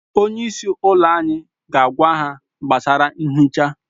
Onye isi ụlọ anyị ga-agwa ha gbasara nhicha